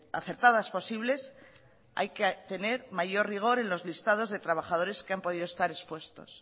acertadas posibles hay que tener mayor rigor en los listados de trabajadores que han podido estar expuestos